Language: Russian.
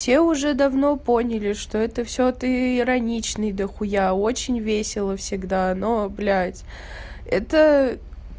всё уже давно поняли что это всё ты ироничный дохуя очень весело всегда но блядь это